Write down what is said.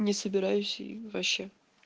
не собираюсь и вообще